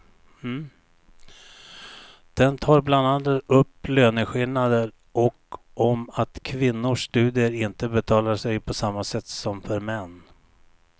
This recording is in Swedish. Den tar bland annat upp löneskillnader och om att kvinnors studier inte betalar sig på samma sätt som för män.